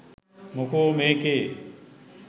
මොකෝ මේකේ